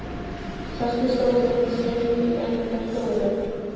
Sest í stólinn sinn í enda stofunnar.